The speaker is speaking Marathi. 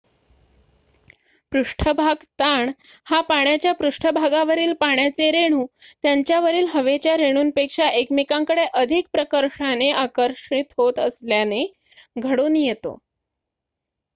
पृष्ठभाग ताण हा पाण्याच्या पृष्ठभागावरील पाण्याचे रेणू त्यांच्या वरील हवेच्या रेणूंपेक्षा एकमेकांकडे अधिक प्रकर्षाने आकर्षित होत असल्याने घडून येतो